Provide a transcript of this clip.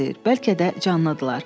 Bəlkə də canlıdırlar.